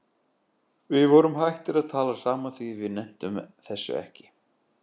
Við vorum hættir að tala saman því við nenntum þessu ekki.